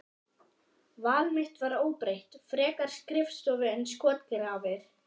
Val mitt var óbreytt, frekar skrifstofu en skotgrafir.